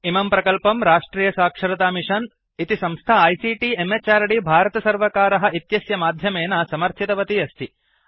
इमं प्रकल्पं राष्ट्रियसाक्षरतामिषन् इति संस्था आईसीटी म्हृद् भारतसर्वकार इत्यस्य माध्यमेन समर्थितवती अस्ति